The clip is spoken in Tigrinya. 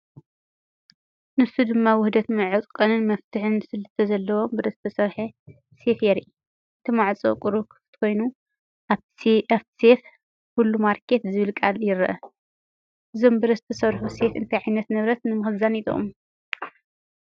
ንሱ ድማ ውህደት መዕጸዊን መፍትሕ ስልትን ዘለዎ ብረት ዝሰርሕ ሴፍ የርኢ። እቲ ማዕጾ ቁሩብ ክፉት ኮይኑ፡ ኣብቲ ሴፍ "ሁሉማርኬት" ዝብል ቃላት ይርአ። እዞም ብረት ዝሰርሑ ሴፍ እንታይ ዓይነት ንብረት ንምኽዛን ይጥቀሙ?